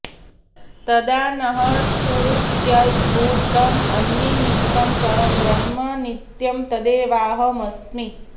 तदा नः स्फुरत्यद्भुतं यन्निमित्तं परं ब्रह्म नित्यं तदेवाहमस्मि